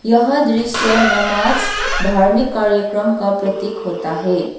यह दृश्य नमाज धार्मिक कार्यक्रम का प्रतीक होता है।